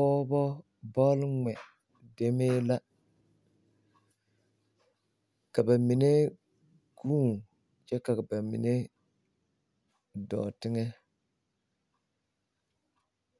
Pɔɔbɔ bolŋmɛ demee la ka ba mine ɡuune kyɛ ka ba mine dɔɔ teŋɛ